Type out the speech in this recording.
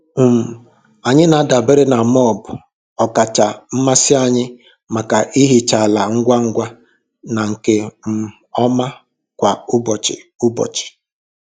um Anyị na-adabere na mop ọkacha mmasị anyị maka ihicha ala ngwa ngwa na nke um ọma kwa ụbọchị. ụbọchị.